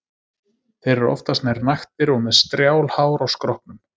Þeir eru oftast nær naktir eða með strjál hár á skrokknum.